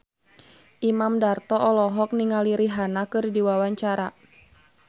Imam Darto olohok ningali Rihanna keur diwawancara